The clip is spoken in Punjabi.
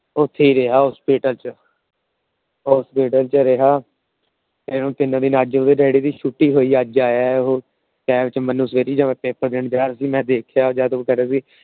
ਉੱਥੇ ਹੀ ਰਿਹਾ Hospital ਚ। Hospital ਚ ਰਿਹਾ ਤਿੰਨ ਦਿਨ ਅੱਜ ਉਹਂਦੇ ਡੈਡੀ ਦੀ ਛੁੱਟੀ ਹੋਈ ਅੱਜ ਆਇਆ ਉਹ । ਪੇਪਰ ਦੇਣ ਗਿਆ ਸੀ ਮੈ ਦੇਖਿਆ